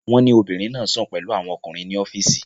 Wọ́n ní obìnrin náà sùn pẹ̀lú àwọn ọkùnrin ní ọ́fíìsì